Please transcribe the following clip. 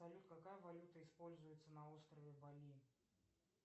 салют какая валюта используется на острове бали